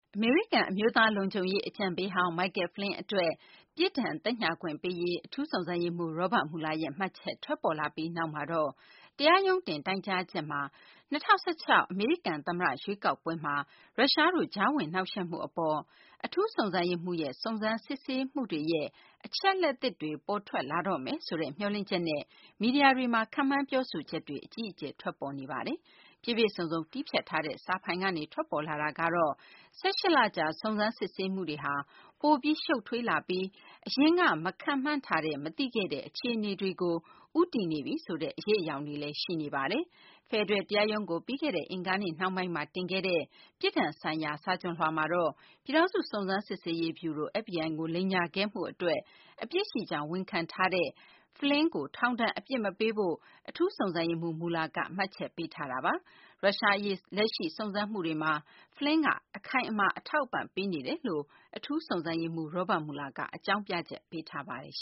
အမေရိကန် အမျိုးသား လုံခြုံရေး အကြံပေးဟောင်း Michael Flynn အတွက် ပြစ်ဒဏ်သက်ညှာခွင့်ပေးရေး အထူးစုံစမ်းရေးမှူး Robert Mueller ရဲ့ မှတ်ချက်ထွက်ပေါ်လာပြီးနောက်မှာတော့ တရားရုံးတင် တိုင်ကြားချက်မှာ ၂၀၁၆ အမေရိကန် သမ္မတ ရွေးကောက်ပွဲမှာ ရုရှားတို့ ကြားဝင်နှောင့်ယှက်မှု အပေါ် အထူးစုံစမ်းရေးမှူးရဲ့ စုံစမ်းစစ်ဆေးမှုတွေရဲ့ အချက်အလက်သစ်တွေ ပေါ်ထွက်လာတော့မယ်ဆိုတဲ့ မျှော်လင့်ချက်နဲ့ မီဒီယာတွေမှာ ခန့်မှန်း ပြောဆိုချက်တွေ အကြီးအကျယ် ထွက်ပေါ်နေပါတယ်။ ပြည့်ပြည့်စုံစုံ တည်းဖြတ်ထားတဲ့ စာဖိုင်ကနေ ထွက်ပေါ်လာတာကတော့ ၁၈ လကြာ စုံစမ်းစစ်ဆေးမှုဟာ ပိုပြီး ရှုပ်ထွေးလာပြီး အရင်က မခန့်မှန်းထားတဲ့ မသိခဲ့တဲ့ အခြေအနေတွေကို ဦးတည်နေပြီဆိုတဲ့ အရိပ်အယောင်တွေလည်း ရှိနေပါတယ်။ ဖယ်ဒရယ် တရားရုံးကို ပြီးခဲ့တဲ့ အင်္ဂါနေ့ နှောင်းပိုင်းမှာ တင်ခဲ့တဲ့ ပြစ်ဒဏ်ဆိုင်ရာ စာချွန်လွှာမှာတော့ ပြည်ထောင်စု စုံစမ်းစစ်ဆေးရေး ဗျူရို FBI ကို လိမ်ညာခဲ့မှု အတွက် အပြစ်ရှိကြောင်း ဝန်ခံထားတဲ့ Flynn ကို ထောင်ဒဏ် အပြစ်မပေးဖို့ အထူးစုံစမ်းရေးမှူး Mueller က မှတ်ချက်ပေးထားတာပါ။ ရုရှား အရေး လက်ရှိ စုံစမ်းမှုတွေမှာ Flynn က အခိုင်အမာ အထောက်အပံ့ ပေးနေတယ်လို့ အထူးစုံစမ်းရေးမှူး Robert Mueller က အကြောင်းပြချက်ပေးပါတယ်။